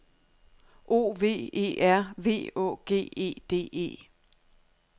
O V E R V Å G E D E